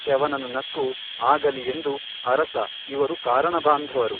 ಚ್ಯವನನು ನಕ್ಕು ಆಗಲಿ ಎಂದು ಅರಸ ಇವರು ಕಾರಣಬಾಂಧವರು.